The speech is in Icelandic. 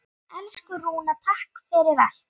Elsku Rúna, takk fyrir allt.